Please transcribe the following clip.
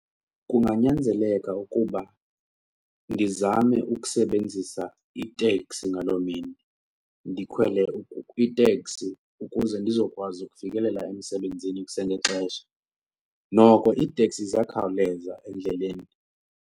Kunganyanzeleka ukuba ndizame ukusebenzisa iteksi ngaloo mini. Ndikhwele iteksi ukuze ndizokwazi ukufikelela emisebenzini kusengexesha, noko iiteksi ziyakhawuleza endleleni.